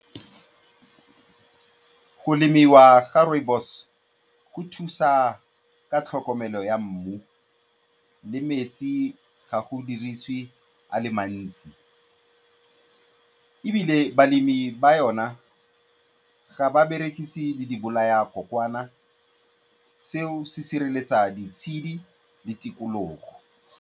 Go lemiwa ga rooibos go thusa ka tlhokomelo ya mmu le metsi ga go diriswe a le mantsi, ebile balemi ba yona ga ba berekise le dibolaya-kokoana, seo se sireletsa ditshedi le tikologo.